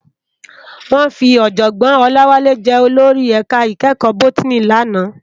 Wòn fi òjògbòn Olawale jè ólórí èká ikèékò bótìní làná